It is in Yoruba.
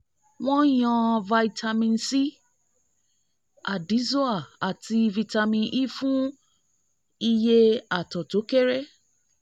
wọ́n yàn vitamin c addyzoa àti vitamin e fún iye àtọ̀ tó kéré